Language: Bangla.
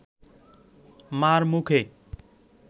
মার মুখে